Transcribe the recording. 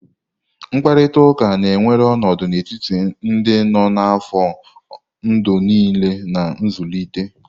Mkparịta ụka na-ewere ọnọdụ n'etiti ndị nọ n'afọ ndụ niile na nzụlite.